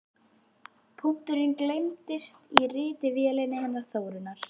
Punkturinn gleymdist í ritvélinni hennar Þórunnar.